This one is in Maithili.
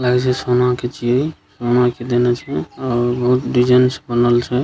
लागे छै सोना के छिये सोना के देनाय छै बहुत डिजाइन से बनल छैइ --